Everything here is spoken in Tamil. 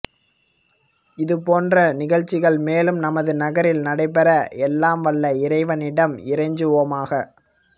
இது போன்ற நிகழ்சிகள் மேலும் நமது நகரில் நடைபெற எல்லாம் வல்ல இறைவனிடம் இறைஞ்சுவோமாக